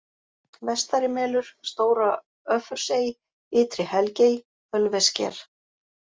Vestarimelur, Stóra-Öffursey, Ytri-Helgey, Ölvessker